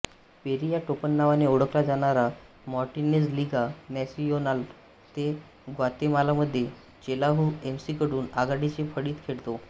peri या टोपणनावाने ओळखला जाणारा मार्टिनेझ लिगा नॅसियोनाल दे ग्वातेमालामध्ये चेलाहु एमसीकडून आघाडीच्या फळीत खेळतो